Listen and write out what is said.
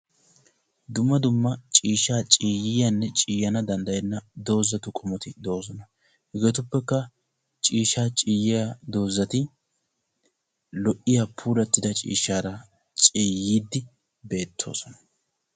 Dumma dumma ciishsha ciyannanne danddayenna doozatti beetosonna. Hegeetuppe ciyiyagetti puulawu maadosonna.